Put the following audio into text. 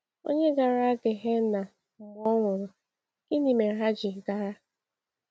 Ònye gara Gehenna mgbe ọ nwụrụ, gịnị mere ha ji gara?